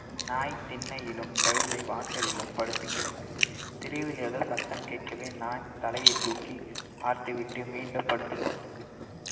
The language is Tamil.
நாய் திண்ணையிலும் கழுதை வாசலிலும் படுத்து கிடந்தன தெருவில் ஏதோ சத்தம் கேட்கவே நாய் தலையை தூக்கி பார்த்து விட்டு மீண்டும் படுத்துக்கொண்டது